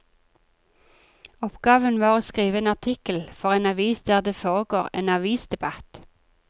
Oppgaven var å skrive en artikkel for en avis der det foregår en avisdebatt.